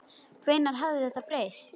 Hvenær hafði það breyst?